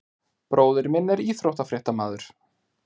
Bróðir minn er íþróttafréttamaður.